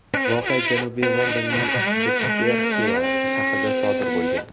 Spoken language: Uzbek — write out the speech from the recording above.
Voqea Janubiy Londonning Batterseya shahrida sodir bo‘lgan.